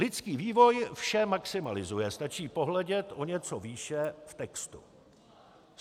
Lidský vývoj vše maximalizuje, stačí pohledět o něco výše v textu.